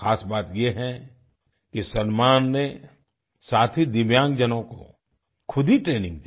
खास बात ये है कि सलमान ने साथी दिव्यांगजनों को खुद ही ट्रेनिंग दी